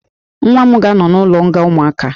Nwa m ga-anọ n'ụlọnga ụmụaka